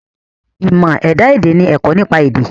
Ìmọ̀ ẹ̀dá èdè ni ẹ̀kọ́ nípa èdè.